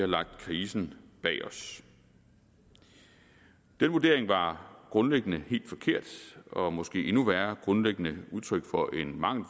lagt krisen bag os den vurdering var grundlæggende helt forkert og måske endnu værre grundlæggende udtryk for en mangel